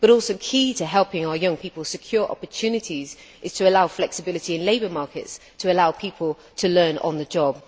Another key to helping our young people secure opportunities is to allow flexibility in labour markets so that people can learn on the job.